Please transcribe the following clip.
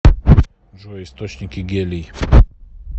джой источники гелий